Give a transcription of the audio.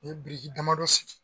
O ye biriki damadɔ sigi.